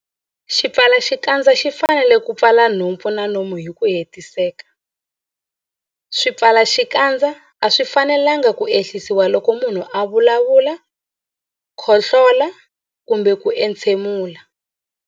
Xipfalaxikandza xi fanele ku pfala nhompfu na nomo hi ku hetiseka. Swipfalaxikandza a swi fanelanga ku ehlisiwa loko munhu a vulavula, khohlola kumbe ku entshemula.